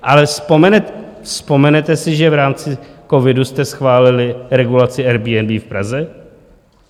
Ale vzpomenete si, že v rámci covidu jste schválili regulaci Airbnb v Praze?